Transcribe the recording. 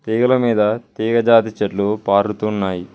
తీగల మీద తీగ జాతి చెట్లు పారుతున్నాయి.